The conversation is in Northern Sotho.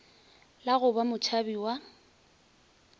la go ba motšhabi wa